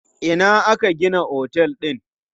A ina aka gina otel din?